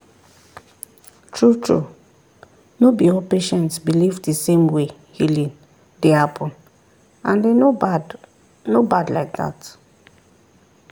true-true no be all patients believe the same way healing dey happen and e no bad no bad like that.